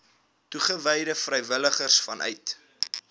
toegewyde vrywilligers vanuit